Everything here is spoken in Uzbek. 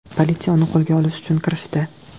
Politsiya uni qo‘lga olish uchun kirishdi.